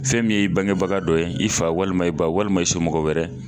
Fɛn min y'i bangebaga dɔ ye i fa walima i ba walima i somɔgɔ wɛrɛ